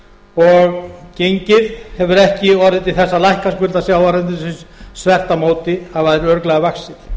og gengið hefur ekki orðið til að lækka skuldir sjávarútvegsins þvert á móti hafa þær örugglega vaxið